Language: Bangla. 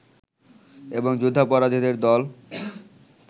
এবং যুদ্ধাপরাধীদের দল